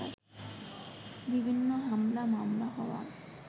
বিভিন্ন হামলা মামলা হওয়ায়